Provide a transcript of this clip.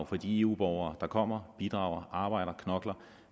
fra de eu borgere der kommer bidrager arbejder knokler